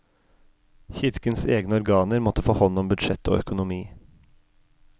Kirkens egne organer måtte få hånd om budsjett og økonomi.